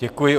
Děkuji.